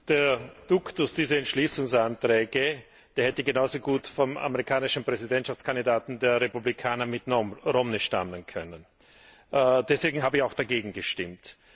Der Duktus dieser Entschließungsanträge hätte genauso gut vom amerikanischen Präsidentschaftskandidaten der Republikaner, Mitt Romney, stammen können. Deswegen habe ich auch dagegen gestimmt.